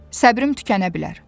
Səbrim tükənə bilər.